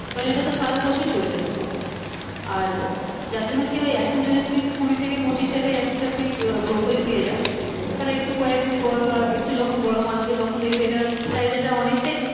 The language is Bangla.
কারণ এইটা তো সারাবছর চলবে আর যার জন্য কি হয় এখন যদি তুমি কুড়ি থেকে পঁচিশ টাকা একটা piece broccoli পেয়ে যাও তাহলে একটু কয়েকদিন পর বা একটু যখন গরম আসবে তখন দেখবে এটা চাহিদা টা অনিকটাই